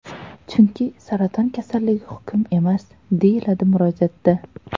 Chunki saraton kasalligi hukm emas”, deyiladi murojaatda.